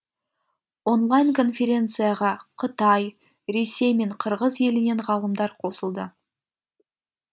онлайн конференцияға қытай ресей мен қырғыз елінен ғалымдар қосылды